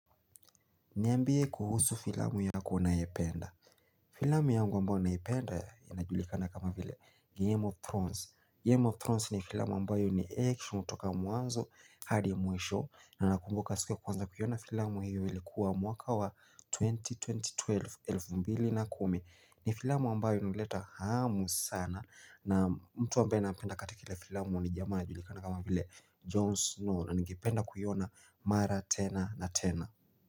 Niambie kuhusu filamu yako unayopenda. Filamu yangu ambayo naiependa inajulikana kama vile Game of Thrones. Game of Thrones ni filamu ambayo ni action kutoka mwanzo hadi mwisho na nakumbuka siku ya kwanza kuiona filamu hiyo ilikuwa mwaka wa 2012. Ni filamu ambayo inaleta hamu sana na mtu ambayo napenda katika ile filamu ni jamaa inajulikana kama vile John Snow na ningependa kuiona mara tena na tena.